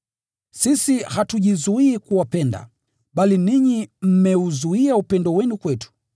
Sisi hatujizuii kuwapenda, bali ninyi mmeuzuia upendo wenu kwetu.